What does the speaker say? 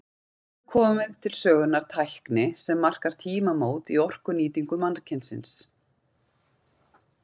Hér hefur komið til sögunnar tækni sem markar tímamót í orkunýtingu mannkynsins.